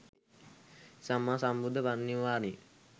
සම්මා සම්බුද්ධ පරිනිර්වාණයෙන්